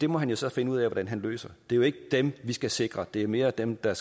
må han jo så finde ud af hvordan han løser det er jo ikke dem vi skal sikre det er mere dem der